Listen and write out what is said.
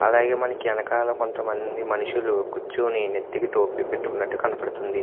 అలాగే మనకి వెనకాల కొంత మంది మనుషులు కూచొని నెత్తికి టోపీలు పెట్టుకునట్టు కనబడుతుంది.